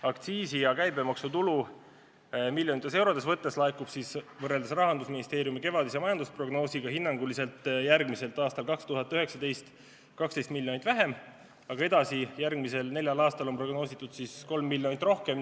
Aktsiisi ja käibemaksu tulu miljonites eurodes laekub võrreldes Rahandusministeeriumi kevadise majandusprognoosiga hinnanguliselt järgmiselt: aastal 2019 – 12 miljonit vähem, aga edasi järgmisel neljal aastal on prognoositud 3 miljonit rohkem.